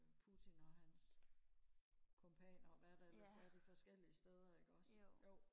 Putin og hans kompanere og hvad der ellers er de forskellige steder ikke også jo